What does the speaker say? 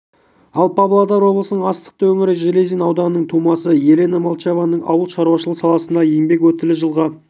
ал павлодар облысының астықты өңірі железин ауданының тумасы елена молчанованың ауыл шаруашылығы саласындағы еңбек өтілі жылға